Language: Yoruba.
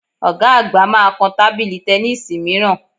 Ọ̀ga àgbà máa kan tábìlì tẹníìsì mìíràn